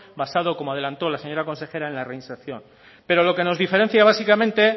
basado como adelantó la señora consejera en la reinserción pero lo que nos diferencia básicamente